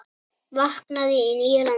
Vaknaði í nýju landi.